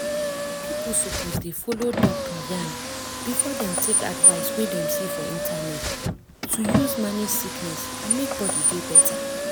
pipo suppose dey follow doctor yarn before dem take advice wey dem see for internet to use manage sickness and make body dey better.